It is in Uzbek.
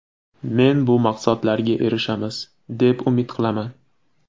Men bu maqsadlarga erishamiz, deb umid qilaman.